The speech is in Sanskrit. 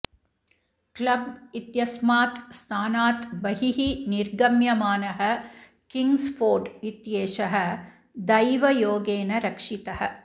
क्लब् इत्यस्मात् स्थानात् बहिः निर्गम्यमानः किंग्जफोर्ड इत्येषः दैवयोगेन रक्षितः